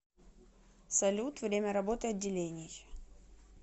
салют время работы отделений